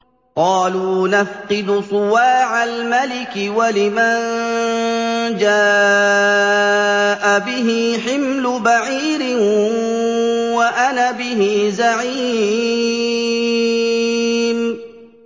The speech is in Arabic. قَالُوا نَفْقِدُ صُوَاعَ الْمَلِكِ وَلِمَن جَاءَ بِهِ حِمْلُ بَعِيرٍ وَأَنَا بِهِ زَعِيمٌ